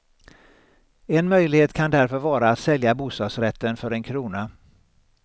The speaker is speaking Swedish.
En möjlighet kan därför vara att sälja bostadsrätten för en krona.